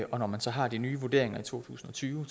og når man så har de nye vurderinger i to tusind og tyve